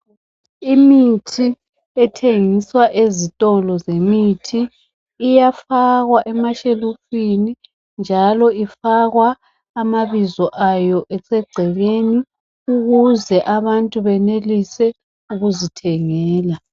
Imithi ethengiswa ezitolo zemithi iyafakwa emashelufini njalo ifakwa amabizo ayo esegcekeni ukuze abantu benelise ukuzithengela.